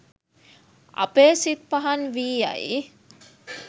අපේ සිත් පහන් වී යයි.